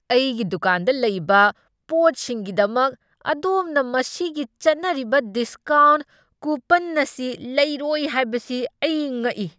ꯑꯩꯒꯤ ꯗꯨꯀꯥꯟꯗ ꯂꯩꯕ ꯄꯣꯠꯁꯤꯡꯒꯤꯗꯃꯛ ꯑꯗꯣꯝꯅ ꯃꯁꯤꯒꯤ ꯆꯠꯅꯔꯤꯕ ꯗꯤꯁꯀꯥꯎꯟꯠ ꯀꯨꯄꯟ ꯑꯁꯤ ꯂꯧꯔꯣꯏ ꯍꯥꯏꯕꯁꯤ ꯑꯩ ꯉꯛꯏ꯫